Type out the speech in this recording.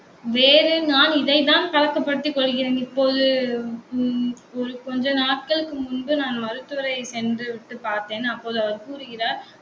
வேறு நான் இதைதான் கலக்கப்படுத்திக் கொள்கிறேன். இப்போது உம் ஒரு கொஞ்ச நாட்களுக்கு முன்பு நான் மருத்துவரை சென்று விட்டு பார்த்தேன். அப்போது அவர் கூறுகிறார்